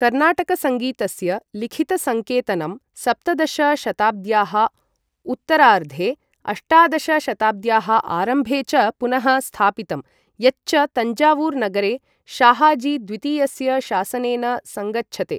कर्नाटकसङ्गीतस्य लिखितसङ्केतनं सप्तदश शताब्द्याः उत्तरार्धे, अष्टादश शताब्द्याः आरम्भे च पुनः स्थापितम्, यच्च तञ्जावूर् नगरे शाहाजी द्वितीयस्य शासनेन सङ्गच्छते।